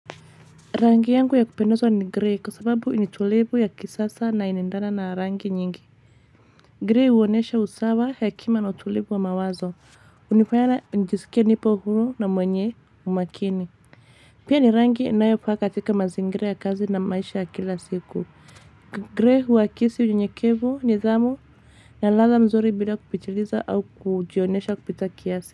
Rangi yangu ya kupendozwa ni grey kwa sababu ni tulivu ya kisasa na inaendana na rangi nyingi. Grey uonesha usawa hekima na utulivu wa mawazo. Unifanya na nijisikia nipo huru na mwenye umakini. Pia ni rangi inayofaa katika mazingira ya kazi na maisha ya kila siku. Grey huakisi unyenyekevu nidhamu. Na lala mzuri bila kupitililiza au kujionesha kupita kiasi.